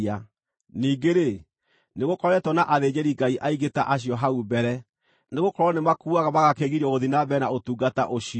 Ningĩ-rĩ, nĩgũkoretwo na athĩnjĩri-Ngai aingĩ ta acio hau mbere, nĩgũkorwo nĩmakuaga magakĩgirio gũthiĩ na mbere na ũtungata ũcio.